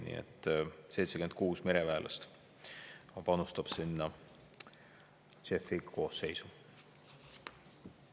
Nii et 76 mereväelast panustab sinna JEF-i koosseisu.